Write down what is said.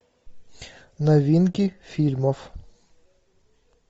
новинки фильмов